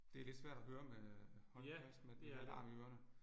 Det er lidt svært at høre med holde fast med det her larm i ørerne